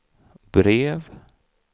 brev